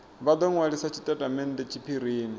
vha do nwalisa tshitatamennde tshiphirini